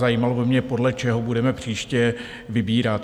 Zajímalo by mě, podle čeho budeme příště vybírat.